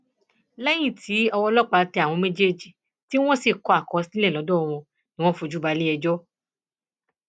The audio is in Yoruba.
lẹyìn tí ọwọ ọlọpàá tẹ àwọn méjèèjì tí wọn sì ti kọ àkọsílẹ lọdọ wọn ni wọn fojú balẹẹjọ